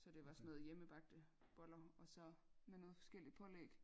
Så det var sådan noget hjemmebagte boller og så med noget forskelligt pålæg